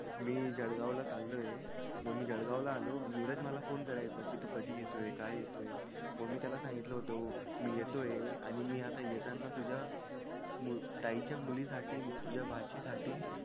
मी जवळगाव ला चालतोय म मी जळगाव ला आलोय धीरज मला phone करायचा कि तू कधी येतोय काय येतोय म मी त्याला सांगितलं होत मी येतोय आणि मी आता येताना तुझ्या ताई च्या मुली साठी तुझ्या भाची साठी